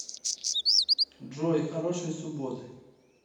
джой хорошей субботы